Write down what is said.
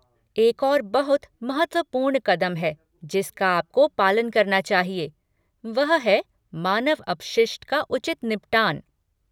एक और बहुत महत्वपूर्ण कदम है जिसका आपको पालन करना चाहिए, वह है मानव अपशिष्ट का उचित निपटान।